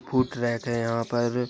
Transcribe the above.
Food track है यहां पर।